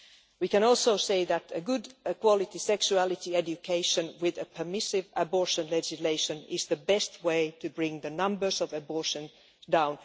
We can also say that a good quality sexuality education with a permissive abortion legislation is the best way to bring the numbers of abortions down.